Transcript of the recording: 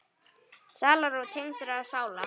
Sálarró tengdra sála.